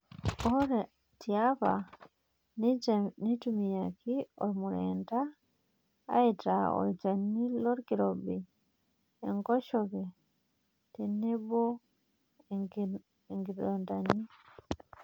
Ore tiapa, eitumiyaki ormureenda aitaa olchani lelkirobi, enkoshoke tenebo nkinonandani.